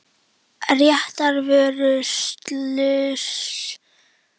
Réttarvörslusjónarmið liggja að baki þessum reglum og einnig fræðileg rök.